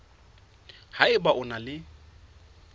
ha eba o na le